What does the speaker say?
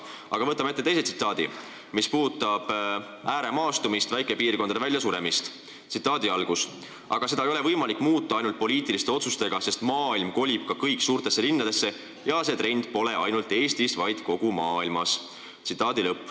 Aga võtame ette teise tsitaadi, mis puudutab ääremaastumist ja maapiirkondade väljasuremist: "Aga seda ei ole võimalik muuta ainult poliitiliste otsustega, sest maailm kolib ka kõik suurtesse linnadesse ja see trend pole ainult Eestis, vaid kogu maailmas.